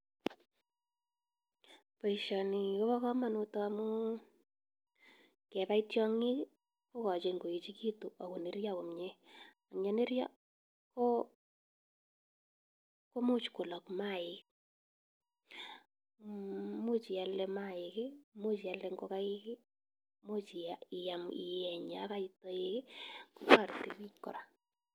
Boisioni kobo kamanut amu, kebai tiong'ik, kogochin koechegitu agonerio komnye. Ang ye nerio, ko komuch kolok maaik, much ialde mayaik, much ialde ngogaik, much ia iam ieny yo kait toek, kotoreti biik kora.